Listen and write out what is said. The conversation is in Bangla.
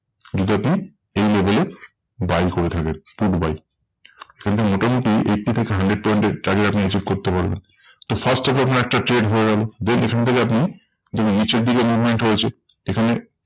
যদি আপনি এই level এ buy করে থাকেন put buy. কিন্তু মোটামুটি eighty থেকে hundred point এর target আপনি achieve করতে পারবেন। তো first of all আপনার একটা trade হয়ে গেলো, then এখান থেকে আপনি যেমন নিচের দিকে movement হয়েছে এখানে